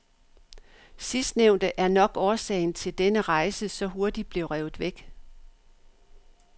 Sidstnævnte er nok årsagen til denne rejse så hurtigt blev revet væk.